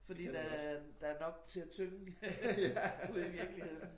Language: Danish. Fordi der er der er nok til at tynge ude i virkeligheden